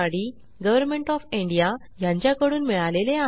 government of India कडून मिळाले आहे